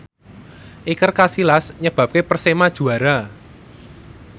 Iker Casillas nyebabke Persema juara